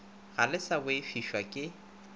ga le sa boifišwa ke